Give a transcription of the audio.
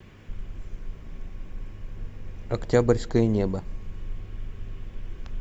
октябрьское небо